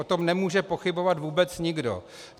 O tom nemůže pochybovat vůbec nikdo.